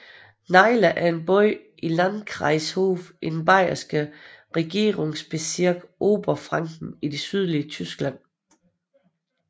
Naila er en by i Landkreis Hof i den bayerske regierungsbezirk Oberfranken i det sydlige Tyskland